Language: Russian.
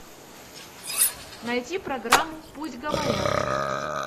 найти программу пусть говорят